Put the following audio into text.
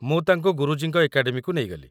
ମୁଁ ତାକୁ ଗୁରୁଜୀଙ୍କ ଏକାଡେମୀକୁ ନେଇଗଲି।